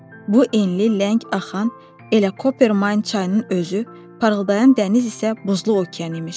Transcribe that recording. Bu enli, ləng axan elə Kopermayn çayının özü, parıldayan dəniz isə buzlu okean imiş.